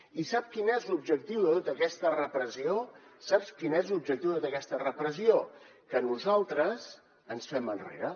i sap quin és l’objectiu de tota aquesta repressió saps quin és l’objectiu d’aquesta repressió que nosaltres ens fem enrere